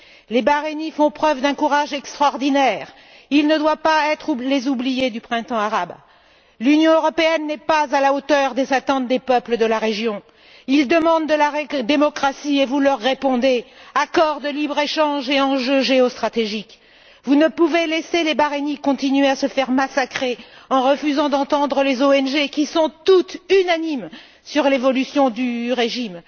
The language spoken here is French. Les Bahreïniens font preuve d'un courage extraordinaire ils ne doivent pas être les oubliés du Printemps arabe. L'Union européenne n'a pas répondu aux attentes des peuples de la région. Ces peuples demandent de la démocratie et vous leur répondez accord de libre échange et enjeux géostratégiques. Vous ne pouvez laisser les Bahreïniens continuer à se faire massacrer en refusant d'entendre les ONG, qui sont toutes unanimes sur l'évolution du régime.